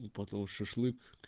и потом шашлык